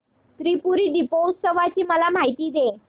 त्रिपुरी दीपोत्सवाची मला माहिती दे